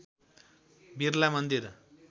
बिरला मन्दिर